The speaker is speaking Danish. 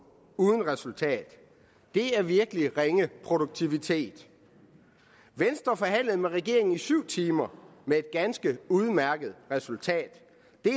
uden resultat det er virkelig ringe produktivitet venstre forhandlede med regeringen i syv timer med et ganske udmærket resultat det